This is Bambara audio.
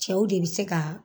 Cɛw de be se ka